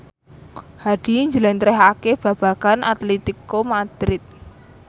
Hadi njlentrehake babagan Atletico Madrid